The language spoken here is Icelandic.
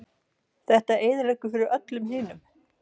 Þetta eyðileggur fyrir öllum hinum